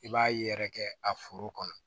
I b'a ye yɛrɛ kɛ a foro kɔnɔ